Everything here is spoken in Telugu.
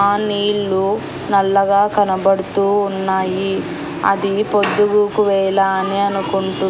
ఆ నీళ్ళు నల్లగా కనబడుతూ ఉన్నాయి అది పొద్దుగూకు వేళ అని అనుకుంటూ--